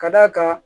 Ka d'a kan